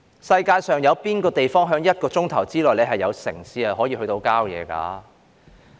世界上哪有地方是可以在一小時內由城市走到郊野的呢？